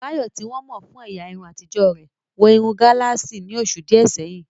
Bayo, tí wọ́n mọ̀ fún ẹ̀yà irun àtijọ́ rẹ̀, wọ irun gálààsì ní oṣù díẹ̀ sẹ́yìn.